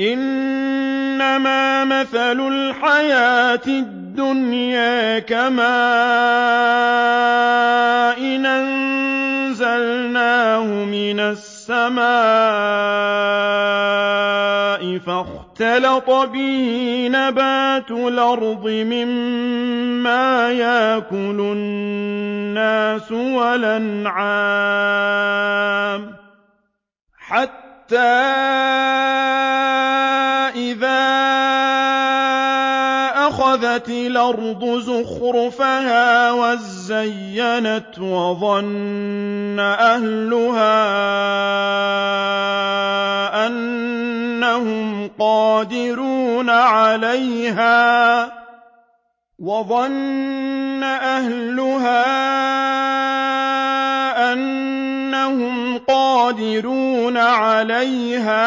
إِنَّمَا مَثَلُ الْحَيَاةِ الدُّنْيَا كَمَاءٍ أَنزَلْنَاهُ مِنَ السَّمَاءِ فَاخْتَلَطَ بِهِ نَبَاتُ الْأَرْضِ مِمَّا يَأْكُلُ النَّاسُ وَالْأَنْعَامُ حَتَّىٰ إِذَا أَخَذَتِ الْأَرْضُ زُخْرُفَهَا وَازَّيَّنَتْ وَظَنَّ أَهْلُهَا أَنَّهُمْ قَادِرُونَ عَلَيْهَا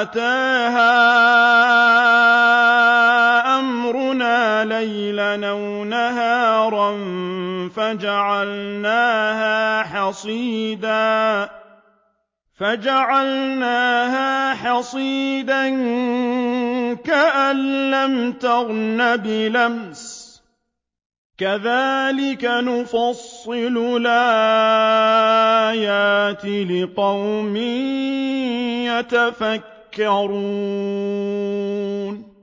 أَتَاهَا أَمْرُنَا لَيْلًا أَوْ نَهَارًا فَجَعَلْنَاهَا حَصِيدًا كَأَن لَّمْ تَغْنَ بِالْأَمْسِ ۚ كَذَٰلِكَ نُفَصِّلُ الْآيَاتِ لِقَوْمٍ يَتَفَكَّرُونَ